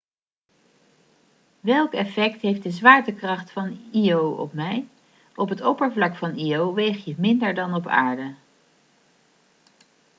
welk effect heeft de zwaartekracht van io op mij op het oppervlak van io weeg je minder dan op aarde